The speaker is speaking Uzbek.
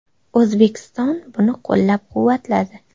O‘zbekiston buni qo‘llab-quvvatladi.